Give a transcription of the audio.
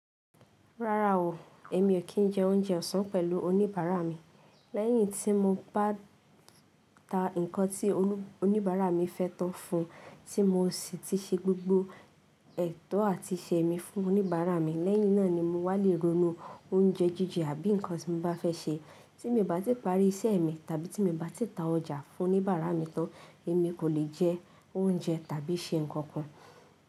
Rárá o, èmi ò kí jẹ oúnjẹ ọ̀sán pẹ̀lú oníbàárà mi. Lẹ́yìn tí mo bá ta ǹkan tí oníbàárà mi fẹ́ tán fún, tí mo sì ti ṣe gbogbo ètò àti ìṣe mi fún oníbàárà mi, lẹ́yìn náà ni mo wà lè ronú oúnjẹ jíjẹ àbí ǹkan tí mo bá fẹ́ ṣe. Tí mo bá ti parí iṣẹ́ mi tàbí tí mo bá ti ta ọjà fún oníbàárà mi tán, èmi kò le jẹ oúnjẹ tàbí ṣe ǹkan kan.